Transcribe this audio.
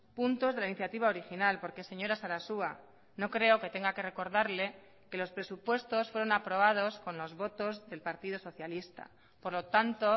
puntos de la iniciativa original porque señora sarasua no creo que tenga que recordarle que los presupuestos fueron aprobados con los votos del partido socialista por lo tanto